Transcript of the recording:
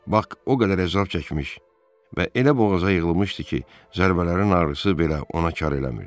Bak o qədər əzab çəkmiş və elə boğazına yığılmışdı ki, zərbələrin ağrısı belə ona kar eləmirdi.